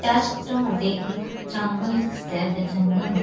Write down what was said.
त्या चित्रामध्ये एक जंगल दिसतय त्या जंगल म--